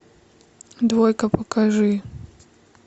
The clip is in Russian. двойка покажи